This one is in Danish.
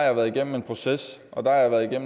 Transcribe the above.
har været gennem en proces og at jeg